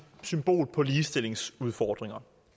symbol på ligestillingsudfordringer